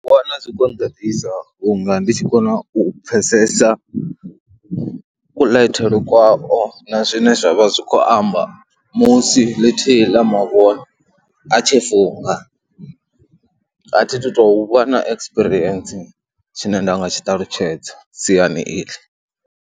Ndo wana zwi khou nḓaḓisa vhunga ndi tshi kona u pfhesesa kuḽaithele kwavho na zwine zwa vha zwi khou amba musi ḽithihi ḽa mavhone a tshi funga. A thi tu tou vha na ekisipirientsi tshine nda nga tshi ṱalutshedza siani iḽi.